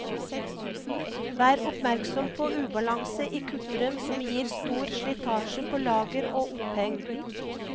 Vær oppmerksom på ubalanse i kutteren som gir store slitasje på lager og oppheng.